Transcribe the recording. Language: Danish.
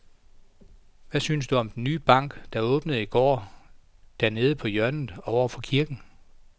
Hvad synes du om den nye bank, der åbnede i går dernede på hjørnet over for kirken?